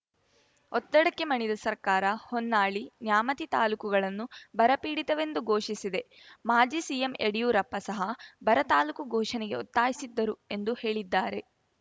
ಒತ್ತಡಕ್ಕೆ ಮಣಿದ ಸರ್ಕಾರ ಹೊನ್ನಾಳಿ ನ್ಯಾಮತಿ ತಾಲೂಕುಗಳನ್ನು ಬರ ಪೀಡಿತವೆಂದು ಘೋಷಿಸಿದೆ ಮಾಜಿ ಸಿಎಂ ಯಡಿಯೂರಪ್ಪ ಸಹ ಬರ ತಾಲೂಕು ಘೋಷಣೆಗೆ ಒತ್ತಾಯಿಸಿದ್ದರು ಎಂದು ಹೇಳಿದ್ದಾರೆ